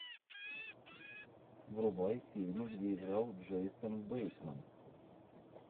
врубай фильмы где играл джейсон бейтман